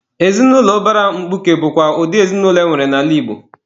Ezinụlọ ụbara mkpuke bụkwa ụdị ezinụlọ enwere n'ala Igbo.